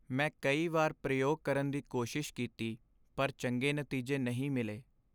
ਮੈਂ ਕਈ ਵਾਰ ਪ੍ਰਯੋਗ ਕਰਨ ਦੀ ਕੋਸ਼ਿਸ਼ ਕੀਤੀ ਪਰ ਚੰਗੇ ਨਤੀਜੇ ਨਹੀਂ ਮਿਲੇ।